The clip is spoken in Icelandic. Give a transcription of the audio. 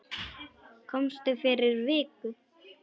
Komstu fyrir viku?